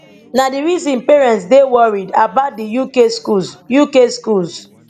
na di reason parents dey worried about di uk schools uk schools